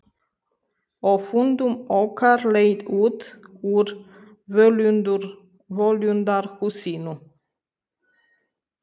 Og fundum okkar leið út úr völundarhúsinu.